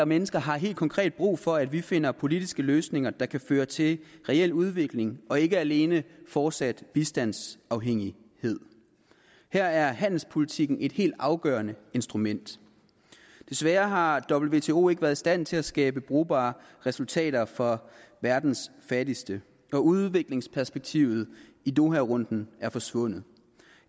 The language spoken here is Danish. mennesker har helt konkret brug for at vi finder politiske løsninger der kan føre til en reel udvikling og ikke alene fortsat bistandsafhængighed her er handelspolitikken et helt afgørende instrument desværre har wto ikke været i stand til at skabe brugbare resultater for verdens fattigste når udviklingsperspektivet i doharunden er forsvundet